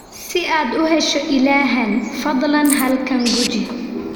Si aad u hesho ilahan, fadlan halkan guji.